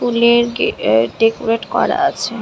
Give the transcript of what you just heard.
ফুলের গে অ্যা ডেকোরেট করা আছে।